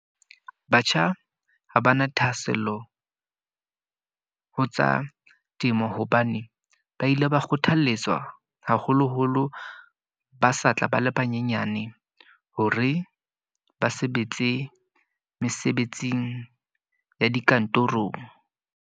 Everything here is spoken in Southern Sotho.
Batjha ha ba na thahasello, ho tsa temo. Hobane ba ile ba kgothaletswa haholo-holo ba sa tla ba le banyenyane, hore ba sebetse mesebetsing ya dikantorong.